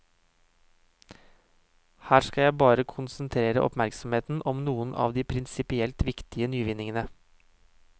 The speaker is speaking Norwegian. Her skal jeg bare konsentrere oppmerksomheten om noen av de prinsipielt viktige nyvinningene.